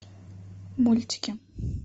мультики